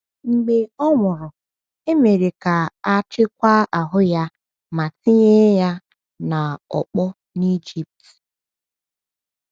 Mgbe ọ nwụrụ, e mere ka a chekwaa ahụ ya ma tinye ya n’ọkpọ n’Ejipt.